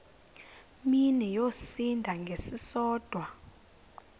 mini yosinda ngesisodwa